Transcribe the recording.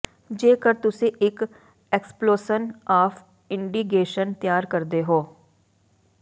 ਜੇਕਰ ਤੁਸੀਂ ਇੱਕ ਐਕਸਪਲੋਸਨ ਆਫ ਇੰਡੀਗੇਸ਼ਨ ਤਿਆਰ ਕਰਦੇ ਹੋ